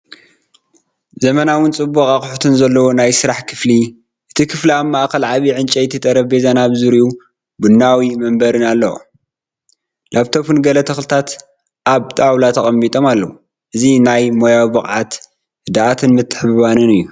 ዘመናውን ጽቡቕ ኣቑሑት ዘለዎን ናይ ስራሕ ክፍሊ። እቲ ክፍሊ ኣብ ማእከል ዓቢይ ዕንጨይቲ ጠረጴዛን ኣብ ዙርያኡ ቡናዊ መንበርን ኣለዎ። ላፕቶፕን ገለ ተኽልታትን ኣብ ጣውላ ተቐሚጦም ኣለዉ። እዚ ናይ ሞያዊ ብቕዓት፡ ህድኣትን ምትሕብባርን እዩ።